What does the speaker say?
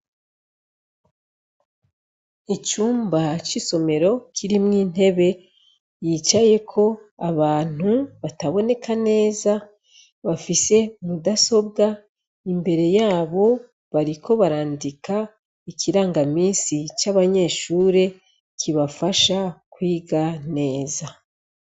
icumba c'isomero k'irimwo intebe yicayeko abantu bataboneka neza bafise mudasobwa imbere yabo bariko barandika ikirangaminsi c'abanyeshuri kibafasha kwiga neza.